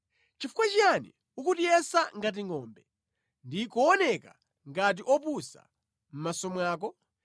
Chifukwa chiyani ukutiyesa ngati ngʼombe ndi kuoneka ngati opusa mʼmaso mwako?